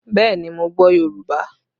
Bẹẹ ni, mo gbọ́ Yorùbá